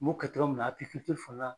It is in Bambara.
N m'o kɛ togo min na fana